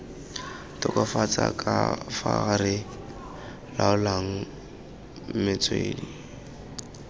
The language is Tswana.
tokafatsa kafa re laolang metswedi